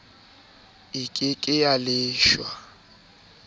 e ke ke ya leshwa